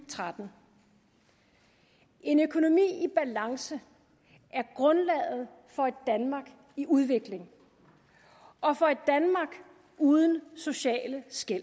tretten en økonomi i balance er grundlaget for et danmark i udvikling og for et danmark uden sociale skel